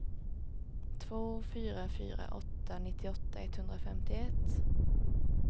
två fyra fyra åtta nittioåtta etthundrafemtioett